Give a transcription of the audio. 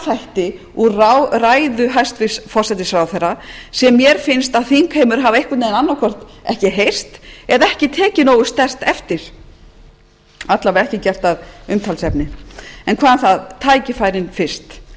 þætti úr ræðu hæstvirts forsætisráðherra sem mér finnst að þingheimur hafi einhvern veginn annað hvort ekki heyrt eða ekki tekið nógu sterkt eftir alla vega ekki gert að umtalsefni hvað um það tækifærin fyrst